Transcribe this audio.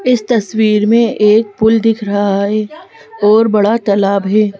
इस तस्वीर में एक पुल दिख रहा है और बड़ा तलाब है।